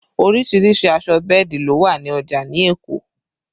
Oríṣiríṣìí aṣọ bẹ́ẹ̀dì ló wà ní ọjà ní Èkó